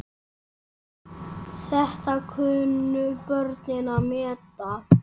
Þetta kunnu börnin að meta.